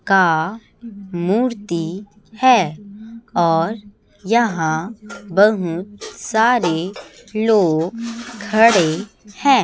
का मूर्ति है और यहां बहुत सारे लोग खड़े हैं।